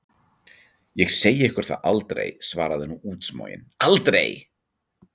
Ég segi ykkur það aldrei, svarði hún útsmogin, aldrei!